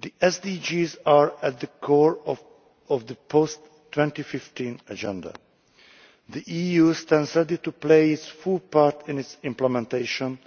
The SDGs are at the core of the post 2015 agenda. The EU stands ready to play its full part in its implementation,